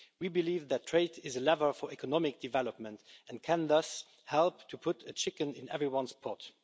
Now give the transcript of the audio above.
We believe that trade is a lever for economic development and can thus help to put a chicken in everyone's pot.